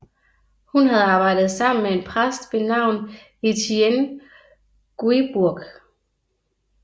Hun havde arbejdet sammen med en præst ved navn Étienne Guibourg